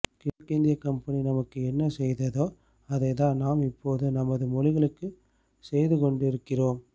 கிழக்கிந்தியக் company நமக்கு என்ன செய்ததோ அதைத்தான் நாம் இப்போது நமது மொழிகளுக்குச் செய்து கொண்டிருக்கிறோம்